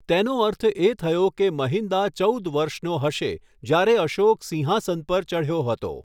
તેનો અર્થ એ થયો કે મહિન્દા ચૌદ વર્ષનો હશે જ્યારે અશોક સિંહાસન પર ચઢ્યો હતો.